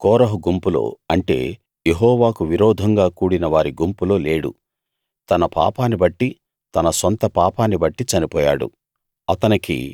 అతడు కోరహు గుంపులో అంటే యెహోవాకు విరోధంగా కూడినవారి గుంపులో లేడు తన పాపాన్నిబట్టి తన సొంత పాపాన్నిబట్టి చనిపోయాడు